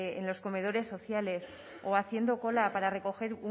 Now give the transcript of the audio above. en los comedores sociales o haciendo cola para recoger